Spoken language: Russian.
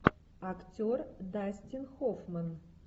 актер дастин хоффман